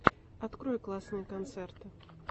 открой классные концерты